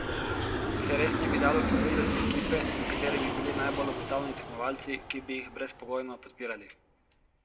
Se res ne bi dalo formirati ekipe, v kateri bi bili najbolj obetavni tekmovalci, ki bi jih brezpogojno podpirali?